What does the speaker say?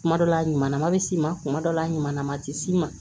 Kuma dɔ la a ɲuman ma s'i ma kuma dɔ la a ɲuman tɛ s'i ma